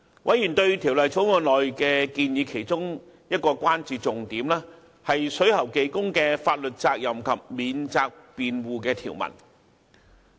委員對《條例草案》所載建議的其中一個關注重點，是水喉技工的法律責任及法定免責辯護條文。